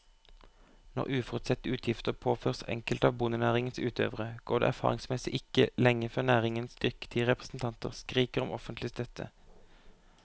Når uforutsette utgifter påføres enkelte av bondenæringens utøvere, går det erfaringsmessig ikke lenge før næringens dyktige representanter skriker om offentlig støtte.